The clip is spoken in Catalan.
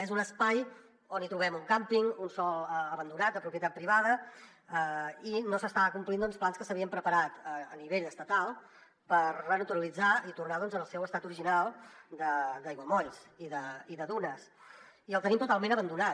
és un espai on hi trobem un càmping un sòl abandonat de propietat privada i no s’estan complint doncs plans que s’havien preparat a nivell estatal per renaturalitzar i tornar lo al seu estat original d’aiguamolls i de dunes i el tenim totalment abandonat